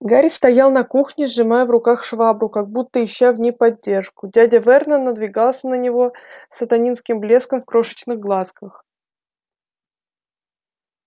гарри стоял на кухне сжимая в руках швабру как будто ища в ней поддержку дядя вернон надвигался на него с сатанинским блеском в крошечных глазках